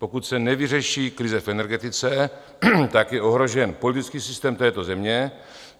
Pokud se nevyřeší krize v energetice, tak je ohrožen politický systém této země.